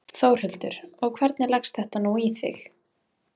Þórhildur: Og hvernig leggst þetta nú í þig?